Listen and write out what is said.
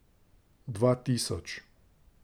Dva tisoč.